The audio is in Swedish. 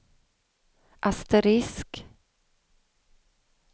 asterisk